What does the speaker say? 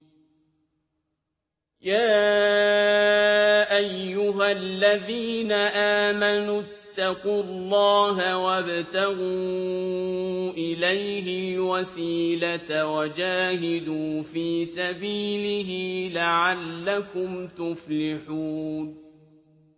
يَا أَيُّهَا الَّذِينَ آمَنُوا اتَّقُوا اللَّهَ وَابْتَغُوا إِلَيْهِ الْوَسِيلَةَ وَجَاهِدُوا فِي سَبِيلِهِ لَعَلَّكُمْ تُفْلِحُونَ